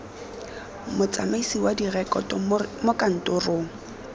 motsamaisi wa direkoto mo kantorong